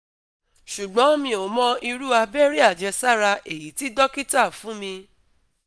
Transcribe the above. ṣùgbọ́n mi ò mọ iru abere ajesara eyi tí dókítà fún mi